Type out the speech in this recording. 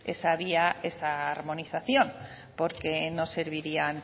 esa vía esa armonización porque no serviría